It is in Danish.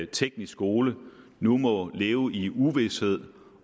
teknisk skole nu må leve i uvished